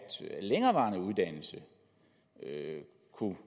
længerevarende uddannelse